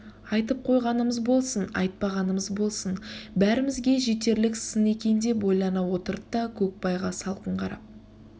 айтып қойғанымыз болсын айтпағанымыз болсын бәрімізге де жетерлік сын екен деп ойлана отырды да көкбайға салқын қарап